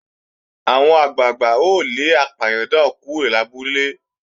Àwọn àgbàgbà ó lé apàyàn náà kúrò lábúlé